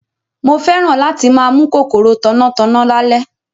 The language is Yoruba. Mo fẹ́ràn láti máa mú kòkòrò tanná tanná lálẹ́